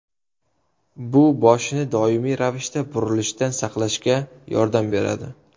Bu boshni doimiy ravishda burilishdan saqlashga yordam beradi.